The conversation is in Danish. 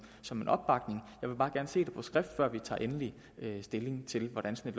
som en opbakning jeg vil bare gerne se det på skrift før vi tager endelig stilling til hvordan sådan